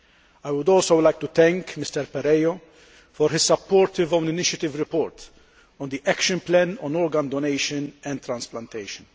I would also like to thank Mr Perello Rodriguez for his supportive own initiative report on the action plan on organ donation and transplantation.